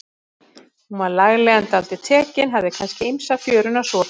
Hún var lagleg en dálítið tekin, hafði kannski ýmsa fjöruna sopið.